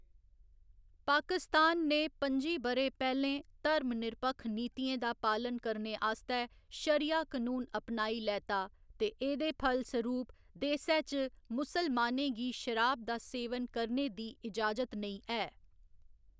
पाकिस्तान ने पं'जी ब'रे पैह्‌लें धर्मनिरपक्ख नीतियें दा पालन करने आस्तै शरिया कनून अपनाई लैता ते एह्‌‌‌दे फलसरूप देसै च मुसलमानें गी शराब दा सेवन करने दी इजाजत नेईं ऐ।